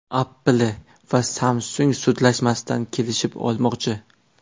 Apple va Samsung sudlashmasdan kelishib olmoqchi.